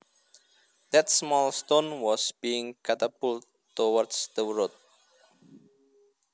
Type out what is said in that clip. That small stone was being catapulted towards the road